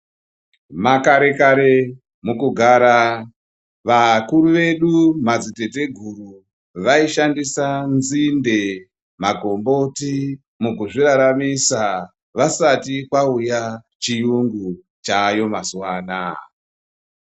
Makare kare mukugara vakuru vedu madzitateguru vaishandisa nzinde makomboti mukuzviraramisa vasati kvauya chiyungu chaayo mazuwa anaa.